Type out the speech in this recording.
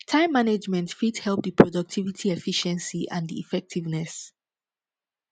time management fit help di productivity efficiency and di effectiveness